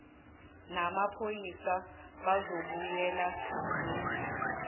namaphoyisa bazobuyela nombi